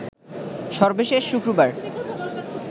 সর্বশেষ শুক্রবার